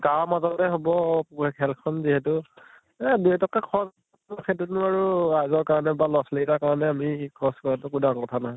গাঁৱৰ মাজতে হʼব খেল খন যিহেতু এ দুই এটকা খৰচ সেইটোতনো আৰু আগৰ কাৰণে পা লʼ ছোৱালী ৰ কাৰণে আমি খৰচ কৰাতো একো ডাঙৰ কথা নহয়